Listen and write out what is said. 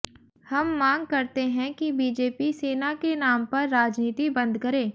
हम मांग करते हैं कि बीजेपी सेना के नाम पर राजनीति बंद करे